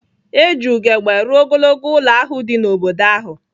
E ji ugegbe rụọ ogologo ụlọ ahụ dị n’obodo ahụ.